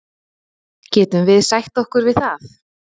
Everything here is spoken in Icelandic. Getum við sætt okkur við það?